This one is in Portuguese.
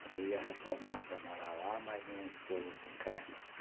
Porque eu ia reformar para morar lá, mas minha esposa não quer.